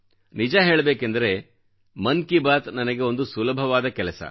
ನಿಜ ಹೇಳಬೇಕೆಂದರೆ ಮನ್ ಕಿ ಬಾತ್ ನನಗೆ ಒಂದು ಸುಲಭವಾದ ಕೆಲಸ